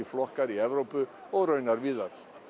flokkar í Evrópu og víðar